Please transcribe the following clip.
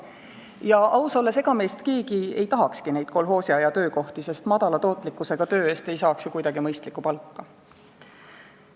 Ja ausalt öeldes, ega meist keegi ei tahakski neid kolhoosiaja töökohti, sest madala tootlikkusega töö eest ei saaks ju kuidagi mõistlikku palka.